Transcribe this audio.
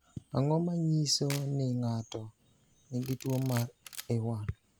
Ang’o ma nyiso ni ng’ato nigi tuwo mar A1?